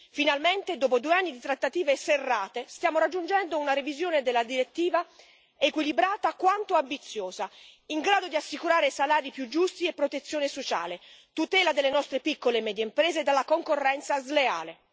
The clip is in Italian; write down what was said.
Finalmente dopo due anni di trattative serrate stiamo raggiungendo una revisione della direttiva equilibrata quanto ambiziosa, in grado di assicurare salari più giusti e protezione sociale, tutela delle nostre piccole e medie imprese dalla concorrenza sleale.